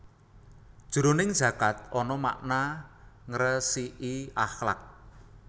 Jroning zakat ana makna ngresiki akhlak